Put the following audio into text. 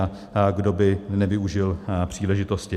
A kdo by nevyužil příležitosti?